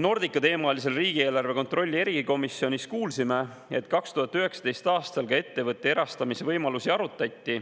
Nordica-teemalisel riigieelarve kontrolli erikomisjoni kuulsime, et 2019. aastal ka ettevõtte erastamise võimalusi arutati,